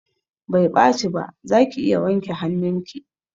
Bai ɓaci ba, zaki iya wanke hanun ki